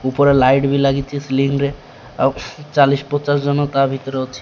ଉପରେ ଲାଇଟ୍ ବି ଲାଗିଚି ସିଲିନ୍ ରେ ଆଉ ଚାଲିଶ୍ ପଚାଶ୍ ଜଣ ତା ଭିତରେ ଅଛି।